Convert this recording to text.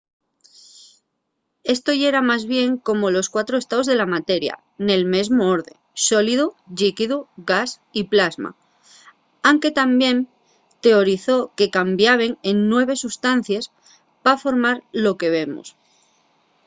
esto yera más bien como los cuatro estaos de la materia nel mesmu orde: sólidu llíquidu gas y plasma anque tamién teorizó que cambiaben en nueves sustancies pa formar lo que vemos